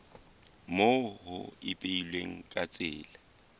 moo ho ipehilweng ka tsela